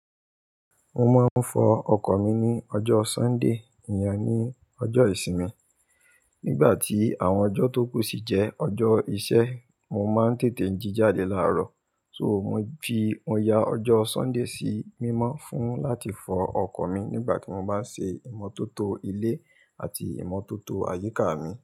Mo máa ń fọ ọkọ̀ mi ní ọjọ́ Sunday, ìyà ní ọjọ́ ìsinmi. Nígbà tí àwọn ọjọ́ tó kù sí jẹ́ ọjọ́ iṣẹ́, mo máa ń tètè jí jáde láàárọ̀. So, mo fi, mo yà ọjọ́ Sunday sí mímọ́ fún láti fọ ọkọ̀ mi nígbà tí mo bá ń ṣe ìmọ́tótó ilé àti ìmọ́tótó àyíká mi.